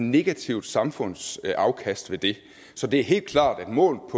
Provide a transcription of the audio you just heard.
negativt samfundsafkast ved det så det er helt klart at målt